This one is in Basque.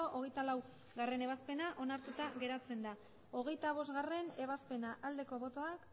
hogeita bat hogeita laugarrena ebazpena onartua geratzen da hogeita bostgarrena ebazpena aldeko botoak